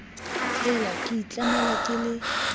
hela ke itlamela ke le